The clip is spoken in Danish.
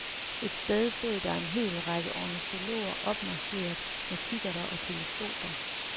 Et sted stod der en hel række ornitologer opmarcheret med kikkerter og teleskoper.